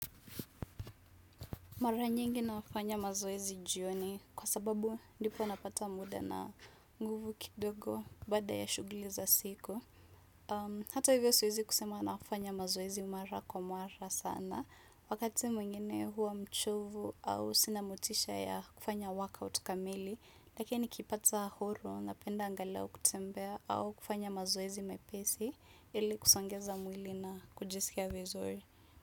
Mara nyingi nafanya mazoezi jioni kwa sababu ndipo napata muda na nguvu kidogo baada ya shughuli za siku. Hato hivyo siwezi kusema nafanya mazoezi mara kwa mara sana. Wakati mwengine huwa mchovu au sina motisha ya kufanya workout kamili. Lakini nikipata huru napenda angalau kutembea au kufanya mazoezi mepesi ili kusongeza mwili na kujisikia vizuri.